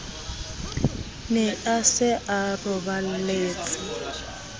ne a se a roballetse